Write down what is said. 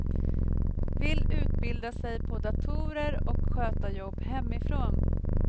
Vill utbilda sig på datorer och sköta jobb hemifrån.